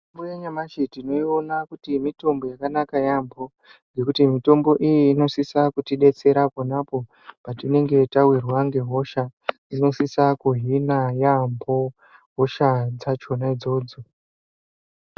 Mitombo yanyamashi, tinoiona kuti mitombo yakanaka yaamho, ngekuti mitombo iyi inosise kutidetsera apo neapo patinenge tawirwa ngehosha, inosisa kuhina yaamho hosha dzachona idzodzo.